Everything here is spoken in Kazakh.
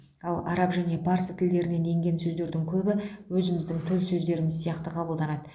ал араб және парсы тілдерінен енген сөздердің көбі өзіміздің төл сөздеріміз сияқты қабылданады